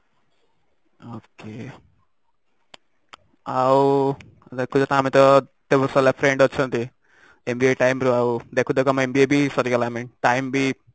ok ଆଉ ଦେଖୁଛ ତ ଆମର କେତେ friend ଅଛନ୍ତି ଦେଖୁ ଦେଖୁ ଆମେ BA ବି ସରିଗଲା ଆଉ time ବି